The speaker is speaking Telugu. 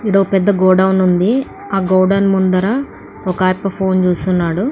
ఇక్కడ పెద్ద గోడౌన్ ఉంది. ఆ గోడౌన్ ముందర ఒక ఫోన్ చూస్తున్నాడు.